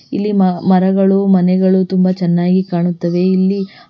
ಇಲ್ಲಿ ಮಾ ಮರಗಳು ಮನೆಗಳು ತುಂಬ ಚೆನ್ನಾಗಿ ಕಾಣುತ್ತವೆ ಇಲ್ಲಿ--